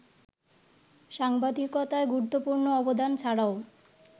সাংবাদিকতায় গুরুত্বপূর্ণ অবদান ছাড়াও